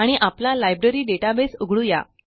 आणि आपला library database उघडू या